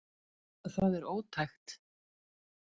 Það er ótækt